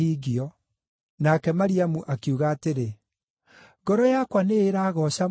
Nake Mariamu akiuga atĩrĩ: “Ngoro yakwa nĩĩragooca Mwathani,